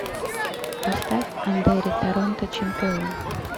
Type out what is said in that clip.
поставь андери торонто чемпион